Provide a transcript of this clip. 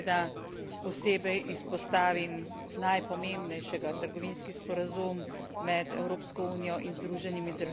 posebej izpostavim najpomembnejšega trgovinski sporazum med Evropsko unijo in Združenimi državami.